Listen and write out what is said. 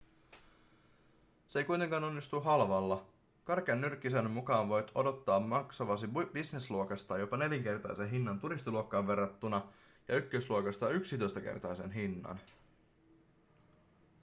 se ei kuitenkaan onnistu halvalla karkean nyrkkisäännön mukaan voit odottaa maksavasi business-luokasta jopa nelinkertaisen hinnan turistiluokkaan verrattuna ja ykkösluokasta yksitoistakertaisen hinnan